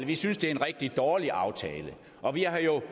vi synes det er en rigtig dårlig aftale og vi har jo